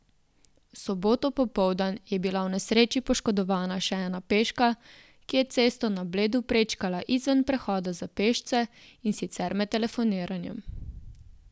V soboto popoldan je bila v nesreči poškodovana še ena peška, ki je cesto na Bledu, prečkala izven prehoda za pešce, in sicer med telefoniranjem.